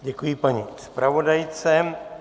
Děkuji paní zpravodajce.